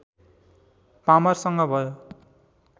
पामरसँग भयो